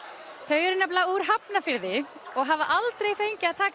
eru nefnilega úr Hafnarfirði og hafa aldrei fengið að taka